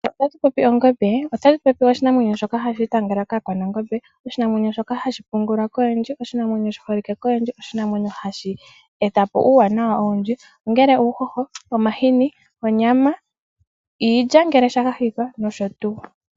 Ngele ota pupopiwa oongombe, ota pupopiwa oshinamwenyo shoka hashi itangelwa kaaKwanangombe, oshinamwenyo shoka hashi pungulwa koyendji, oshinamwenyo, shiholike koyendji sho oha shi etapo omauwanawa ogendji ngaashi, uuhoho, omahini, onyama, iilya ngele shahahithwa, nosho tuu.